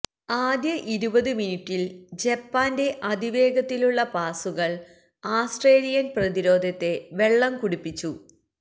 ആദ്യ ഇരുപത് മിനുട്ടില് ജപ്പാന്റെ അതിവേഗത്തിലുള്ള പാസുകള് ആസ്ത്രേലിയന് പ്രതിരോധത്തെ വെള്ളംകുടിപ്പിച്ചു